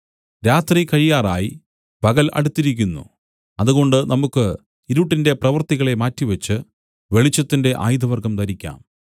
രാത്രി കഴിയാറായി പകൽ അടുത്തിരിക്കുന്നു അതുകൊണ്ട് നമുക്ക് ഇരുട്ടിന്റെ പ്രവൃത്തികളെ മാറ്റിവെച്ച് വെളിച്ചത്തിന്റെ ആയുധവർഗ്ഗം ധരിക്കാം